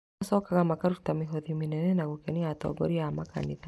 Macokaga makaruta mĩhothi mĩnene na gũkenia atongoria a makanitha